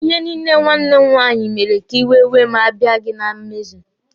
Ihe niile nwanne m nwaanyị mere ka iwe wee mụ abiaghi na mmezu.